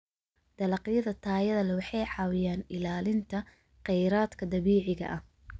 Dalagyada tayada leh waxay caawiyaan ilaalinta kheyraadka dabiiciga ah.